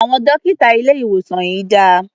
Àwọn dọ́kítà ilé-ìwòsàn yìí dà?